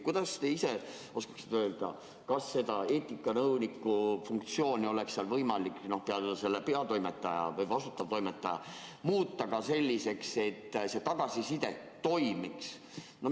Kuidas te ise ütleksite, kas seda eetikanõuniku funktsiooni on seal võimalik, peale selle peatoimetaja või vastutava toimetaja, muuta nii, et see tagasiside toimiks?